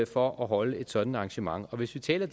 for at holde et sådant arrangement og hvis vi taler